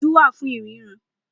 Ojú wà fún ríran